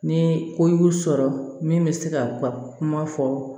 Ni ko y'u sɔrɔ min bɛ se ka u ka kuma fɔ